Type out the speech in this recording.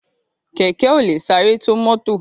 Kẹ̀kẹ́ ò lè sáré tó mọ́tò